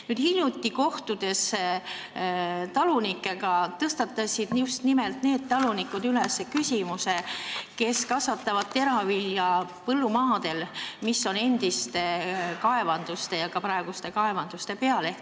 Kui me hiljuti talunikega kohtusime, tõstatasid küsimuse just need talunikud, kes kasvatavad teravilja põllumaadel, mis on endiste ja ka praeguste kaevanduste peal.